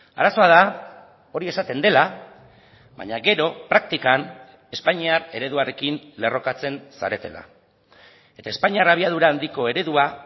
arazoa da hori esaten dela baina gero praktikan espainiar ereduarekin lerrokatzen zaretela eta espainiar abiadura handiko eredua